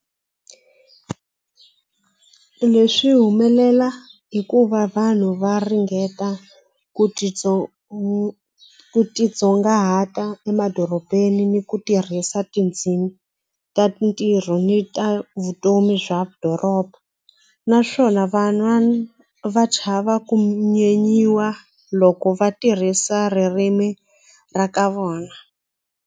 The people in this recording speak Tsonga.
Leswi humelela hikuva vanhu va ringeta ku ti ku titsongahata emadorobeni ni ku tirhisa tindzimi ta ntirho ni ta vutomi bya doroba naswona van'wana va chava ku nyenyiwa loko va tirhisa ririmi ra ka vona.